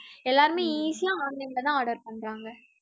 எல்லாருமே easy யா online ல தான் order பண்றாங்க